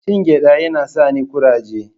Cin gyaɗa yana sani kuraje.